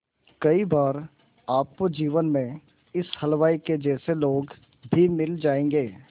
कई बार आपको जीवन में इस हलवाई के जैसे लोग भी मिल जाएंगे